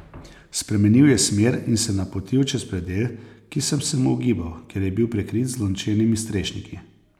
Spremenil je smer in se napotil čez predel, ki sem se mu ogibal, ker je bil prekrit z lončenimi strešniki.